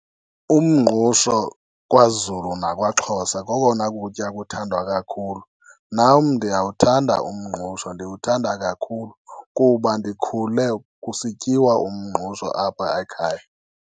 Umngqusho kwaZulu nakwaXhosa kokona kutya kuthandwa kakhulu. Nam ndiyawuthanda umngqusho, ndiwuthanda kakhulu kuba ndikhule kusityiwa umngqusho apha ekhaya.